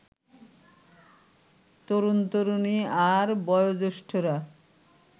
তরুণ-তরুণী আর বয়োজ্যেষ্ঠরা